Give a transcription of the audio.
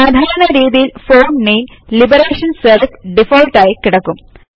സാധാരണ രീതിയിൽ font name Liberation Serif default ആയി കിടക്കും